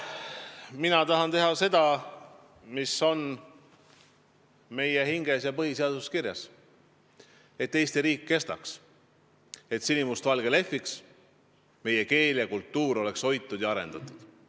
Mina tahan teha seda, mis on meie hinges ja põhiseaduses kirjas: et Eesti riik kestaks, et sinimustvalge lehviks, meie keel ja kultuur oleks hoitud ja arendatud.